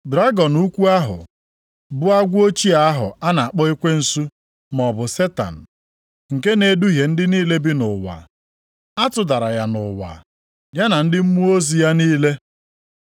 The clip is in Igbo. Dragọn ukwu ahụ, bụ agwọ ochie ahụ a na-akpọ ekwensu maọbụ Setan, nke na-eduhie ndị niile bi nʼụwa. A tụdara ya nʼụwa, ya na ndị mmụọ ozi ya niile.